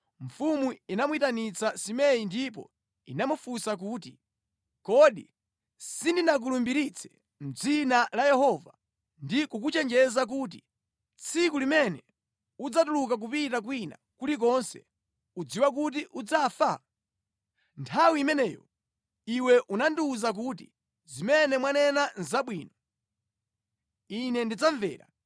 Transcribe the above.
mfumu inamuyitanitsa Simei ndipo inamufunsa kuti, “Kodi sindinakulumbiritse mʼdzina la Yehova ndi kukuchenjeza kuti, ‘Tsiku limene udzatuluka kupita kwina kulikonse, udziwe kuti udzafa’? Nthawi imeneyo iwe unandiwuza kuti, ‘Zimene mwanena nʼzabwino. Ine ndidzamvera.’